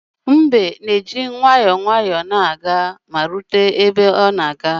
Mbe na-eji nwayọọ nwayọọ na-aga ma rute ebe ọ na-aga